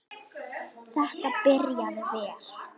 Þetta byrjaði vel.